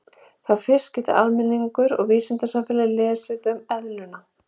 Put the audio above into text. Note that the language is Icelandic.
Þá fyrst gat almenningur og vísindasamfélagið lesið um eðluna.